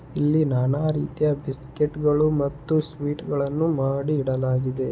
ಇಲ್ಲಿ ನಾನಾ ರೀತಿಯ ಬಿಸ್ಕತ್ ಗಳು ಮತ್ತು ಸ್ವೀಟ್ ಗಳನ್ನು ಮಾಡಿ ಇಡಲಾಗಿದೆ.